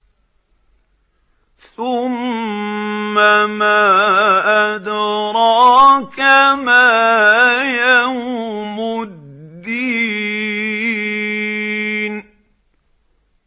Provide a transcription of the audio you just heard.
ثُمَّ مَا أَدْرَاكَ مَا يَوْمُ الدِّينِ